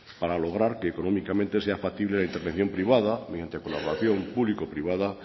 para lograr que económicamente sea factible la intervención privada mediante colaboración público privada